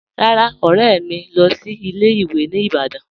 Rárá, ọ̀rẹ̀ mì ń lọ́ sí ilẹ̀-ìwé̀ ní Ìbàdàn.